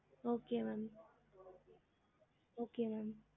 Okay ma'am okay ma'am